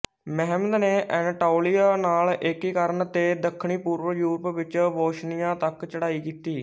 Mehmed ਨੇ Anatolia ਨਾਲ ਏਕੀਕਰਨ ਤੇ ਦੱਖਣਪੂਰਬੀ ਯੂਰਪ ਵਿੱਚ ਬੋਸਨੀਆ ਤੱਕ ਚੜ੍ਹਾਈ ਕੀਤੀ